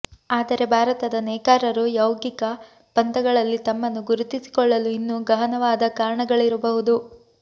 ಆದರೆ ಭಾರತದ ನೇಕಾರರು ಯೌಗಿಕ ಪಂಥಗಳಲ್ಲಿ ತಮ್ಮನ್ನು ಗುರುತಿಸಿಕೊಳ್ಳಲು ಇನ್ನೂ ಗಹನವಾದ ಕಾರಣಗಳಿರಬಹುದು